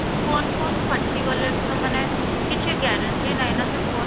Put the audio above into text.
phone phone ଫାଟିଗଲେ ବି ତ ମାନେ କିଛି guarantee ନାହିଁ ସେ phone